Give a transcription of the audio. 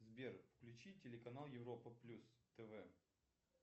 сбер включи телеканал европа плюс тв